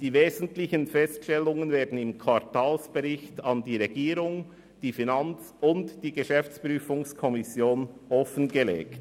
Die wesentlichen Feststellungen werden im Quartalsbericht gegenüber der Regierung, der FiKo und der GPK offengelegt.